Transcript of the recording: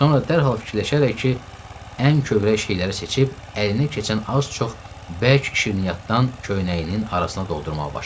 Sonra dərhal fikirləşərək ən kövrək şeyləri seçib əlinə keçən az-çox bərk şirniyyatdan köynəyinin arasına doldurmağa başladı.